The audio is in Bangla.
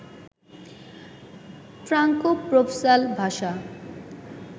ফ্রাঙ্কো-প্রোভঁসাল ভাষা